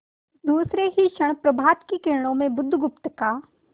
दूसरे ही क्षण प्रभात की किरणों में बुधगुप्त का